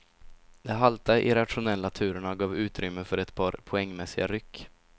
De halta irrationella turerna gav utrymme för ett par poängmässiga ryck.